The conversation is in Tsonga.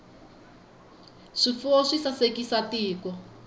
swifuwo swi sasekisa tiko